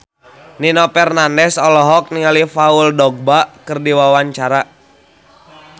Nino Fernandez olohok ningali Paul Dogba keur diwawancara